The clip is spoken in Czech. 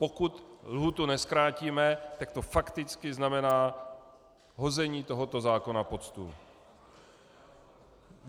Pokud lhůtu nezkrátíme, tak to fakticky znamená hození tohoto zákona pod stůl.